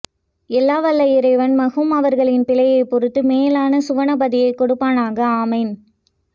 எல்லா வல்ல இறைவன் மர்ஹூம் அவர்களின் பிழைகளை பொருத்து மேலான சுவனபதியை கொடுப்பானாக ஆமீன்